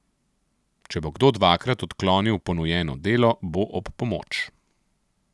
Če bo kdo dvakrat odklonil ponujeno delo, bo ob pomoč.